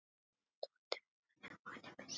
Dóttir hennar er María Mist.